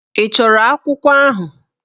Ị chọrọ akwụkwọ ahụ?